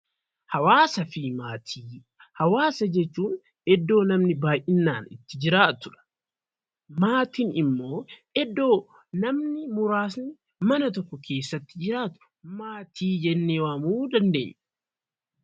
Hawaasa fi maatii Hawaasa jechuun iddoo namni baay'inaan itti jiraatu dha. Maatiin immoo iddoo namni muraasni mana tokko keessatti jiraatu maatii jennee waamuu dandeenya.